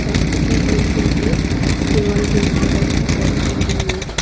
রাস্তাটির ওই সাইডে দেওয়াল দিয়ে ঘেরা একটি বড় বিল্ডিং রয়েছে।